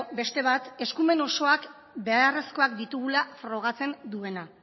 beste bat eskumen osoak beharrezkoak ditugula frogatzen duena